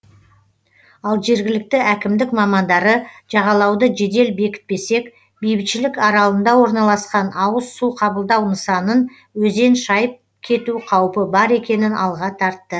ал жергілікті әкімдік мамандары жағалауды жедел бекітпесек бейбітшілік аралында орналасқан ауыз су қабылдау нысанын өзен шайып кету қаупі бар екенін алға тартты